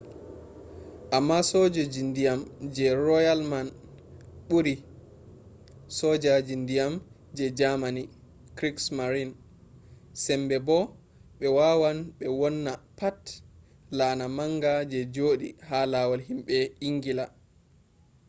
amma sojoji ndiyam je royal man ɓuri sojoji ndiyan je jamani krigsmarin” sembe bo ɓe wawan ɓe wonna pat laana manga je joɗi ha lawol himɓe ingila